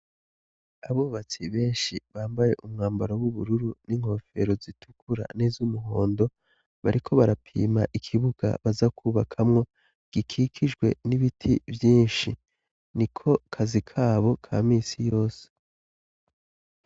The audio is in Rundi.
Abubatsi benshi bambaye umwambaro w'ubururu n'inkofero zitukura n'izo umuhondo, bariko barapima ikibuga bazakwubakamwo gikikijwe n'ibiti vyinshi ni ko kazi kabo kaminsi yose.